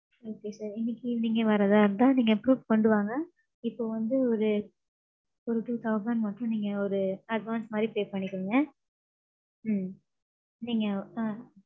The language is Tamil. Okay sir. இன்னிக்கு நீங்க வர்றதா இருந்தா நீங்க proof கொண்டு வாங்க. இப்போ வந்து ஒரு ஒரு two thousand மட்டும் நீங்க ஒரு advance மாறி pay பண்ணிருங்க. ம்ம் நீங்க ஆ.